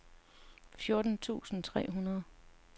fjorten tusind tre hundrede